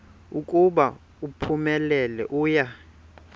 ukuba uphumelele uya